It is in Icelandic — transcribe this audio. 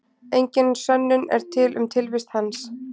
Engin sönnun er til um tilvist hans.